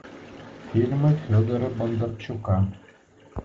фильмы федора бондарчука